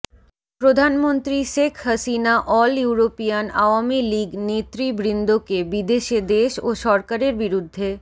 প্রধানমন্ত্রী Sheikh Hasina all European Awami League নেতৃবৃন্দকে বিদেশে দেশ ও সরকারের বিরুদ্ধে